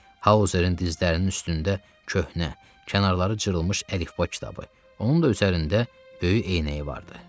Hauzerin dizlərinin üstündə köhnə, kənarları cırılmış əlifba kitabı, onun da üzərində böyük eynəyi vardı.